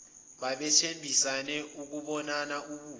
babethembisene ukubonana ubuso